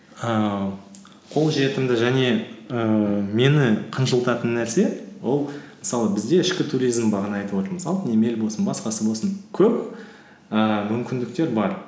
ііі қолжетімді және ііі мені қынжылтатын нәрсе ол мысалы бізде ішкі туризм бағана айтып отырмыз алтын емел болсын басқасы болсын көп ііі мүмкіндіктер бар